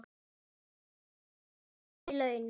Sunna: Hærri laun?